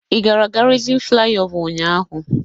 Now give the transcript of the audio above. Ị gara Gárịzịn Flaịọvá ụnyahụ?